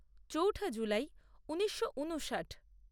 চৌঠা জুলাই ঊনিশো ঊনষাট